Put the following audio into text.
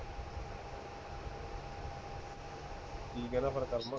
ਕਿ ਕਹਿੰਦਾ ਹੈ ਹੁਣ ਕਰਮ